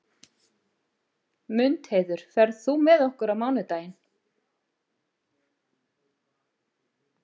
Mundheiður, ferð þú með okkur á mánudaginn?